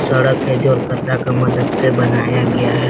सड़क है जो अलकतरा के मदद से बनाया गया है।